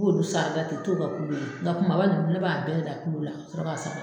b'olu sarada ten i t'o kɛ kulu ye nga kamaba ninnu ne b'a bɛɛ da kulu la ka sɔrɔ ka sa